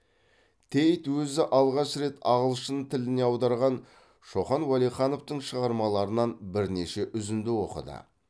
тейт өзі алғаш рет ағылшын тіліне аударған шоқан уәлихановтың шығармаларынан бірнеше үзінді оқыды